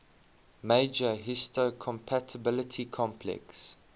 major histocompatibility complex